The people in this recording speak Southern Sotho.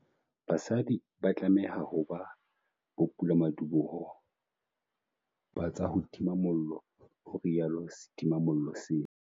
BASADI ba tlameha ho ba bopulamadiboho ba tsa ho tima mollo, ho rialo setimamollo sena.